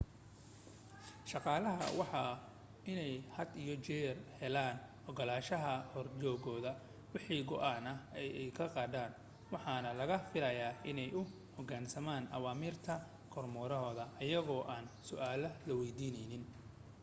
shaqaalaha waa inay had iyo jeer helaan ogolaashaha horjoogahooda wixii go'aan ah ee ay gaadhaan waxaana laga filayaa inay u hoggaansamaan awaamiirta kormeerahooda iyagoo aan su'aal la weydiinin